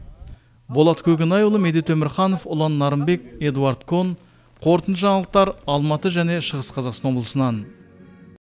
болат көкенайұлы медет өмірханов ұлан нарымбек эдуард кон қорытынды жаңалықтар алматы және шығыс қазақстан облысынан